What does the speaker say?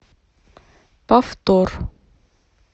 повтор